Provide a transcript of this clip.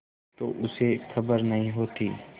तो उसे खबर नहीं होती